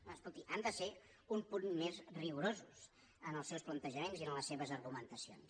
doncs escolti han de ser un punt més rigorosos en els seus plantejaments i en les seves argumentacions